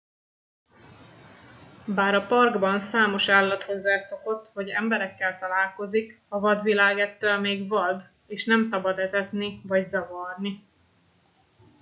bár a parkban számos állat hozzászokott hogy emberekkel találkozik a vadvilág ettől még vad és nem szabad etetni vagy zavarni